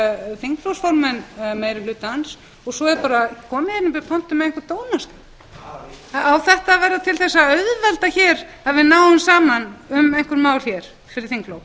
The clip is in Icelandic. þingflokksformenn meiri hlutans og svo er bara komið í pontu með einhvern dónaskap á þetta að verða til þess að auðvelda hér að við náum saman um einhver mál hér fyrir þinglok